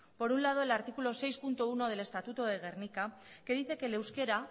por un lado el artículo seis punto uno del estatuto de gernika que dice que el euskera